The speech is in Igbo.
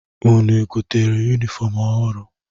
Unu gotere yunifọmụ ọhụrụ?